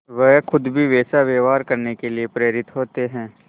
वह खुद भी वैसा व्यवहार करने के लिए प्रेरित होते हैं